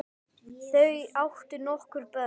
Þau áttu nokkur börn.